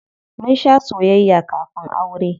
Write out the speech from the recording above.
Mun shaa soyayya kafin aure.